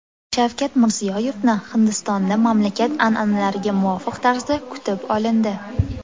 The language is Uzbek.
Shavkat Mirziyoyevni Hindistonda mamlakat an’analariga muvofiq tarzda kutib olindi.